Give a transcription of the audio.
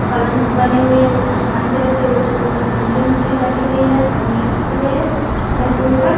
पलंग बने हुए है उसका समान भी रखे हुए उसके ऊपर चुनरी-उनरी लगी हुई है पन्नी रखे हुए है घर के ऊपर।